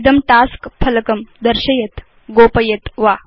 इदं टास्क फलकं दर्शयेत् गोपयेत् वा